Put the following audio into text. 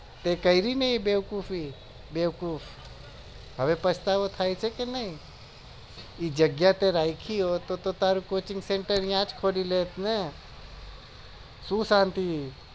તો કરી લર બેવકૂફી બેવકૂફ હવે પછતાવો થાય છે ક નઈ જગ્યા તો રાખી હોત તો તારું coaching centre ત્યાં જ ખોલી લેત ને